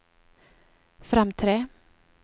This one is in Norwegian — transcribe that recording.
fremtre